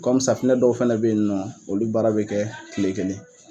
safunɛ dɔw fana be yen nɔ, olu baara be kɛ kile kelen.